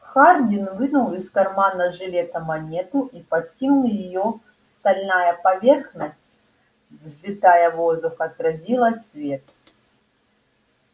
хардин вынул из кармана жилета монету и подкинул её стальная поверхность взлетая в воздух отразила свет